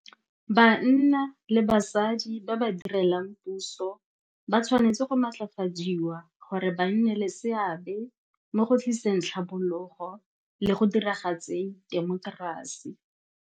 Banna le basadi ba ba direlang puso ba tshwanetse go matlafadiwa gore ba nne le seabe mo go tliseng tlhabologo le go diragatseng temokerasi.